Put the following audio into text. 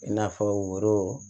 I n'a fɔ woro